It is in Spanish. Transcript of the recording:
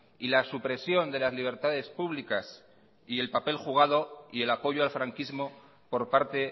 y la supresión de las libertades públicas y el papel jugado y el apoyo al franquismo por parte